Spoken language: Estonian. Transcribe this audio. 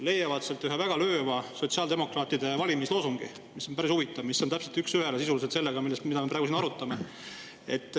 Te leiate sealt ühe väga lööva sotsiaaldemokraatide valimisloosungi, mis on, päris huvitav, täpselt üks ühele sisuliselt teemaga, mida me praegu siin arutame.